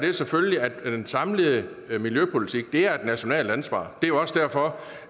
er selvfølgelig at den samlede miljøpolitik er et nationalt ansvar og det er jo også derfor